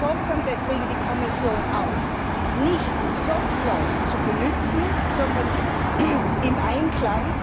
Wir fordern deswegen die Kommission auf, nicht soft law zu benutzen, sondern im Einklang